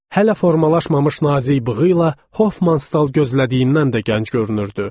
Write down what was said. Hələ formalaşmamış nazik bığı ilə Hoffman stal gözlədiyindən də gənc görünürdü.